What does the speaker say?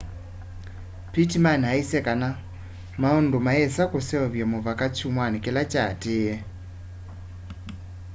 pittman aisye kana maundu mayĩsa kũseũvya mũvaka kyũmwa kĩla kyaatĩe